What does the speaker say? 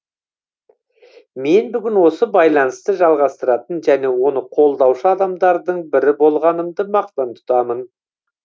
мен бүгін осы байланысты жалғастыратын және оны қолдаушы адамдардың бірі болғанымды мақтан тұтамын